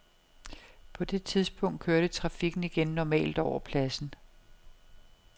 På det tidspunkt kørte trafikken igen normalt over pladsen.